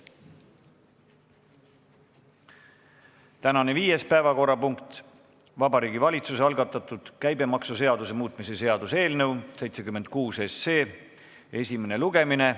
Tänane viies päevakorrapunkt on Vabariigi Valitsuse algatatud käibemaksuseaduse muutmise seaduse eelnõu 76 esimene lugemine.